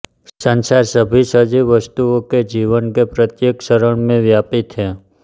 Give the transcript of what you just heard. संचार सभी सजीव वस्तुओं के जीवन के प्रत्येक चरण में व्याप्त है